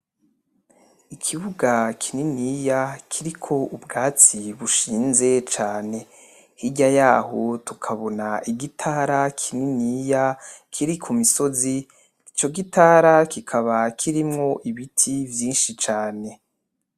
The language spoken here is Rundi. Ikibuga kininiya kiriko ubwatsi bushinze cane, hirya yaho tukabona igitara kininiya kiri kumisozi, ico gitara kikaba kirimwo ibiti vyinshi cane